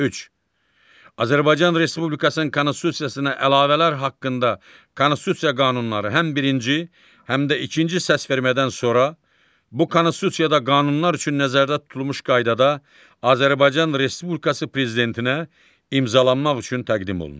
Azərbaycan Respublikasının konstitusiyasına əlavələr haqqında konstitusiya qanunları həm birinci, həm də ikinci səsvermədən sonra bu konstitusiyada qanunlar üçün nəzərdə tutulmuş qaydada Azərbaycan Respublikası prezidentinə imzalanmaq üçün təqdim olunur.